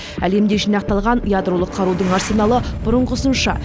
әлемде жинақталған ядролық қарудың арсеналы бұрынғысынша